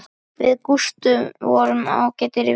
Við Gústi vorum ágætir vinir.